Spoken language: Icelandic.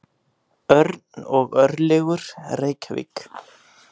Örn og Örlygur, Reykjavík.